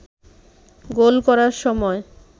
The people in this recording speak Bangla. গোল করার সময়